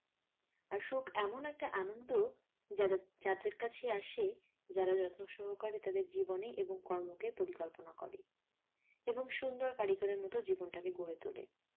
আর সুখ এমন একটা আনন্দ যাদে যাদের কাছেই আসে যারা যত্ন সহকারে তাদের জীবনে এবং কর্মকে পরিকল্পনা করে এবং সুন্দর কারিগরের মতো জীবনটাকে গড়ে তোলে।